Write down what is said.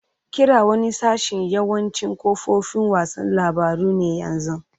Kira wani sashin yawancin kafofin wasan labaru ne yanzu.